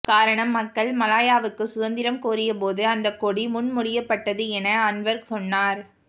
காரணம் மக்கள் மலாயாவுக்கு சுதந்திரம் கோரிய போது அந்தக் கொடி முன்மொழியப்பட்டது என அன்வார் சொன்னார்